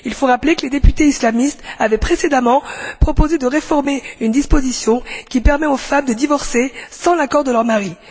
Il faut rappeler que les députés islamistes avaient précédemment proposé de réformer une disposition qui permet aux femmes de divorcer sans l'accord de leur mari.